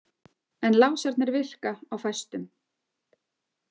En lásarnir virka á fæstum.